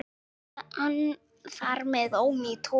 Þar með er hann ónýtur.